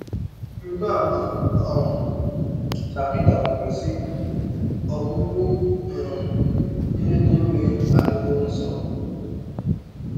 Rịba ama um na Pita kwukwara, sị: “Ọgwụgwụ um ihe niile adịwo nso.”